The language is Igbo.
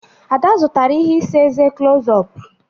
Ada zụtara ihe isa eze clos-ọp